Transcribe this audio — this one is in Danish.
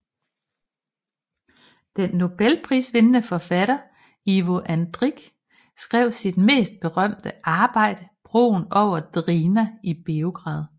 Den Nobelprisvindende forfatter Ivo Andrić skrev sit mest berømte arbejde Broen over Drina i Beograd